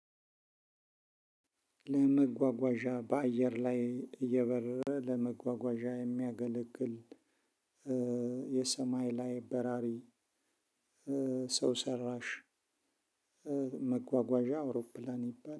ለመጓጓዣ በአየር ላይ እየበረረ ለመጓጓዣ የሚያገለግል የሰማይ ላይ በራሪ ሰው ሰራሽ መጓጓዣ አውሮፕላን ይባላል